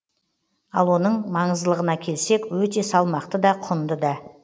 ал оның маңыздылығына келсек өте салмақты да құнды да